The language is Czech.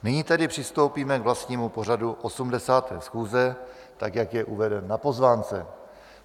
Nyní tedy přistoupíme k vlastnímu pořadu 80. schůze, tak jak je uveden na pozvánce.